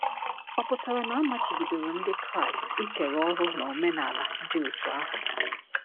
Ọ̀ pụtara na a machibidoro Ndị Kraịst ikere ọ̀rụ n’omenala dị otú ahụ?